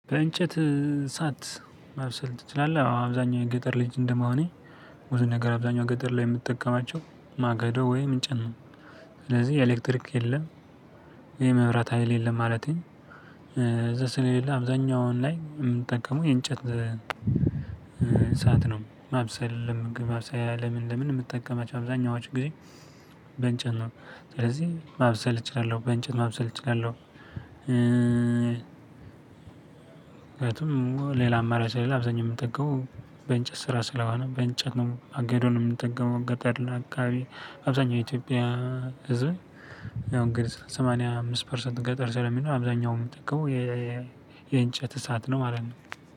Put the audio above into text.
በእንጨት እሳት ማብሰል ትችላለህ? አዎ አብዛኛው የ ገጠር ልጅ እንደመሆኔ ብዙ ነገር አብዛኛው ገጠር ላይ የምጠቀማቸው ማገዶ ወይም እንጨት ነው። ስለዚህ ኤሌክትሪክ የለም። ይሄ መብራት ሀይል የለም ማለቴ። እዛ ስለሌላ አብዛኛውን ላይ የምንጠቀመው የእንጨት እሳት ነው ማብሰል ለምግብ ማብሰያ ለምን ለምን የምጠቀማቸው አብዛኛዎቹ ጊዜ። በእንጨት ነው ስለዚህ ማብሰል እችላለሁ በእንጨት ማብሰል እችላለሁ። ሌላ አማራጭ ስለሌለ አብዛኛው የምንጠቀመው በእንጨት ስራ ስለሆነ በእንጨት ነው። ማገዶ የምንጠገው ገጠር አካባቢ አብዛኛው የኢትዮጵያ ህዝብ። ያው እንግዲህ ሰማንያ አምስት ፐርሰንት ገጠር ስለሚኖር አብዛኛውን የምጠቀመው የእንጨት እሳት ነው ማለት ነው።